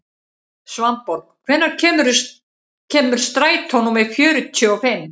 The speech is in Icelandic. Svanborg, hvenær kemur strætó númer fjörutíu og fimm?